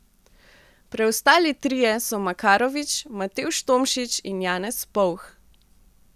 Preostali trije so Makarovič, Matevž Tomšič in Janez Povh.